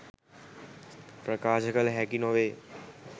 ප්‍රකාශ කල හැකි නොවේ.